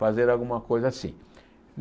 fazer alguma coisa assim.